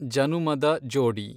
ಜನುಮದ ಜೋಡಿ